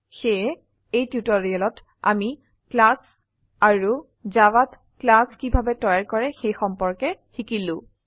সেয়ে এই টিউটোৰিয়েলত আমি ক্লাস আৰু জাভাযৰ ক্লাস কিভাবে তৈয়াৰ কৰে সেই সম্পৰ্কে শিকিলো